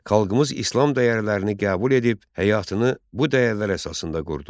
Xalqımız İslam dəyərlərini qəbul edib həyatını bu dəyərlər əsasında qurdu.